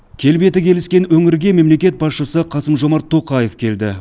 келбеті келіскен өңірге мемлекет басшысы қасым жомарт тоқаев келді